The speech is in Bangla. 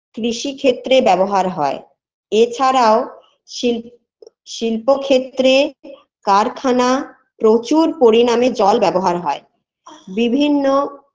কৃষি ক্ষেত্রে ব্যবহার হয় এছাড়া ও শিল শিল্প ক্ষেত্রে কারখানা প্রচুর পরিনামে জল ব্যবহার হয় বিভিন্ন